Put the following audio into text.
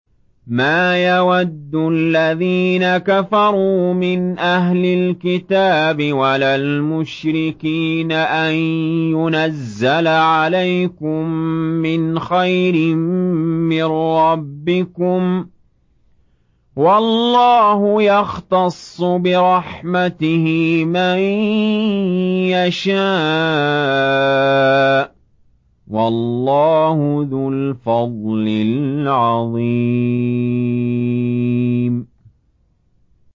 مَّا يَوَدُّ الَّذِينَ كَفَرُوا مِنْ أَهْلِ الْكِتَابِ وَلَا الْمُشْرِكِينَ أَن يُنَزَّلَ عَلَيْكُم مِّنْ خَيْرٍ مِّن رَّبِّكُمْ ۗ وَاللَّهُ يَخْتَصُّ بِرَحْمَتِهِ مَن يَشَاءُ ۚ وَاللَّهُ ذُو الْفَضْلِ الْعَظِيمِ